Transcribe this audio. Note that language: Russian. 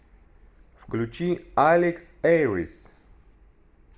включи алекс эрис